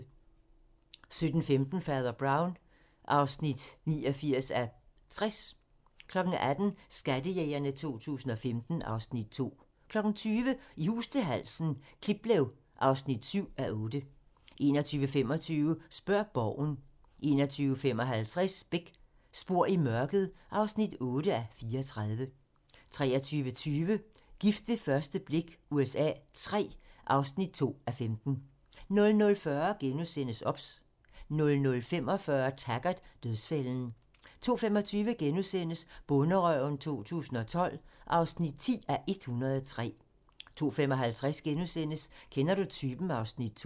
17:15: Fader Brown (89:60) 18:00: Skattejægerne 2015 (Afs. 2) 20:00: I hus til halsen - Kliplev (7:8) 21:25: Spørg Borgen 21:55: Beck: Spor i mørket (8:34) 23:20: Gift ved første blik USA III (2:15) 00:40: OBS * 00:45: Taggart: Dødsfælden 02:25: Bonderøven 2012 (10:103)* 02:55: Kender du typen? (Afs. 2)*